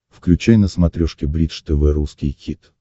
включай на смотрешке бридж тв русский хит